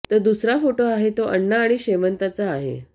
तर दुसरा फोटो आहे तो आण्णा आणि शेवंताचा आहे